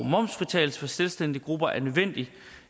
momsfritagelse for selvstændige grupper er nødvendig